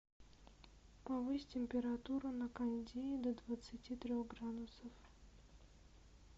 повысь температуру на кондее до двадцати трех градусов